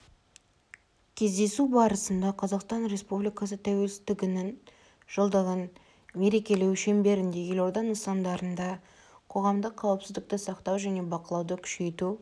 кездесу барысында қазақстан республикасы тәуелсіздігінің жылдығын мерекелеу шеңберінде елорда нысандарында қоғамдық қауіпсіздікті сақтау және бақылауды күшейту